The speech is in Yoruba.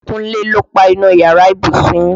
Kúnlé ló páná yàrá ìbùsùn yín.